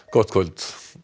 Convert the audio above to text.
gott kvöld